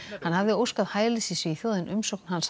hann hafði óskað hælis í Svíþjóð en umsókn hans